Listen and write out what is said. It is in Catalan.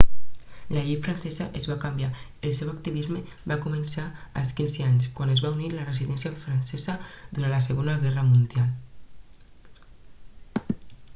la llei francesa es va canviar el seu activisme va començar als 15 anys quan es va unir a la resistència francesa durant la segona guerra mundial